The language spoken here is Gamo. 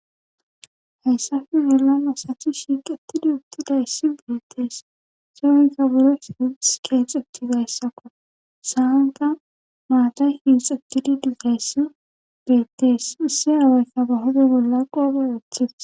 hayssafe bolan asathi shiiqatidi ubti gayssi gidettees zueyka buro sibis keexetti gayssakko sahanta maaday hinxa gididi gayssi gideettees isse aawaykka bahode bolla qoope woththif